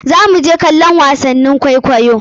Zamu je kallon wasannin kwaikwaiyo.